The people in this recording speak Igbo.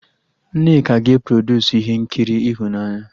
Nneka ga-e produsu ihe nkiri ịhụnanya